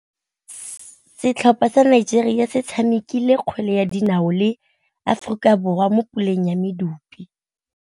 Setlhopha sa Nigeria se tshamekile kgwele ya dinaô le Aforika Borwa mo puleng ya medupe.